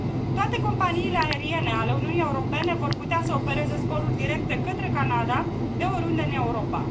Toate companiile aeriene ale Uniunii Europene vor putea să opereze zboruri directe către Canada de oriunde în Europa.